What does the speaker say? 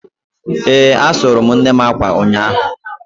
Ee, asụrụ m nnem akwa ụnyahụ